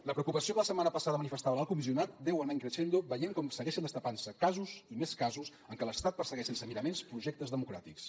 la preocupació que la setmana passada manifestava l’alt comissionat deu anar in crescendo veient com segueixen destapant se casos i més casos en què l’estat persegueix sense miraments projectes democràtics